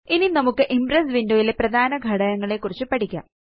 ഇനി നമുക്ക് impress window യിലെ പ്രധാന ഘടകങ്ങളെക്കുറിച്ച് പഠിക്കാം